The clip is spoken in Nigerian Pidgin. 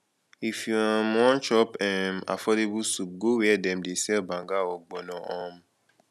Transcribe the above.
if you um wan chop um affordable soup go where dem dey sell banga or ogbono um